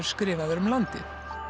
skrifaðar um landið